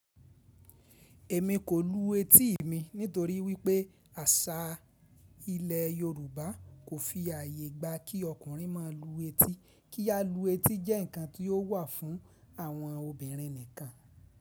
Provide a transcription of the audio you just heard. Èmi kò lu etí mi nítorí wípé àṣà ilẹ̀ Yorùbá kò fi ààyè gba kí ọkùnrin máa lu etí, kí á lu etí jẹ́ ǹkan tí ó wà fún àwọn obìnrin nìkan.